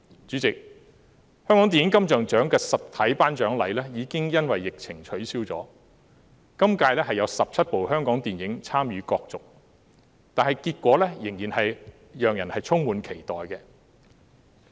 主席，香港電影金像獎的實體頒獎禮已因疫情取消，今屆有17齣香港電影參與角逐，結果令人充滿期待。